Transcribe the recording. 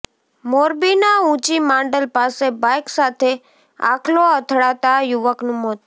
મોરબીના ઉંચીમાંડલ પાસે બાઇક સાથે આખલો અથડાતા યુવકનુ મોત